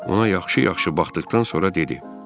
Ona yaxşı-yaxşı baxdıqdan sonra dedi: